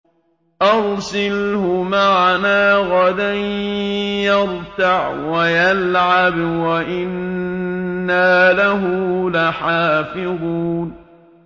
أَرْسِلْهُ مَعَنَا غَدًا يَرْتَعْ وَيَلْعَبْ وَإِنَّا لَهُ لَحَافِظُونَ